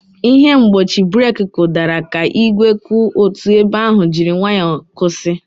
Ihe mgbochi breeki kụdara ka igwe kwụ otu ebe ahụ jiri nwayọ kwụsị.